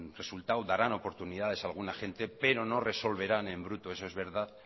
resultado darán oportunidades a alguna gente pero no resolverán en bruto eso es verdad